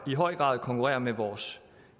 i høj grad konkurrerer med vores